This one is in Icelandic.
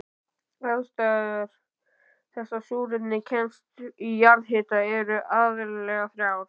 Ástæður þess að súrefni kemst í jarðhitavatn eru aðallega þrjár.